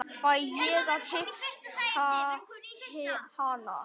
Fæ ég að hitta hana?